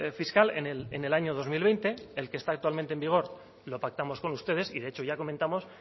fiscal en el año dos mil veinte el que está actualmente en vigor lo pactamos con ustedes y de hecho ya comentamos